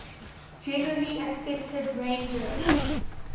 generally accepted ranges